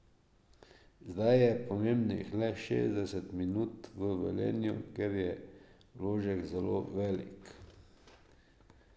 Zdaj je pomembnih le šestdeset minut v Velenju, kjer je vložek zelo velik.